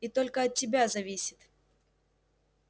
и только от тебя зависит